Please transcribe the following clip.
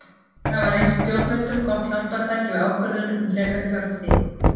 Þeir hafa reynst stjórnendum gott hjálpartæki við ákvörðun um frekari fjárfestingu.